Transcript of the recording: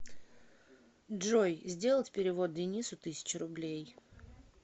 джой сделать перевод денису тысячу рублей